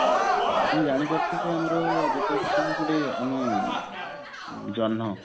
ଆପଣ ଜାଣିପାରୁଥିବେ ଆମର ସବୁ ଗୋଟେ ଆମେ ଜହଁ